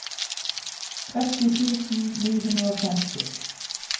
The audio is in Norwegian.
tretti tusen ni hundre og femti